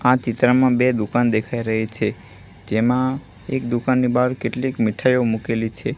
આ ચિત્રમાં બે દુકાન દેખાય રહી છે જેમાં એક દુકાનની બહાર કેટલીક મીઠાયો મુકેલી છે.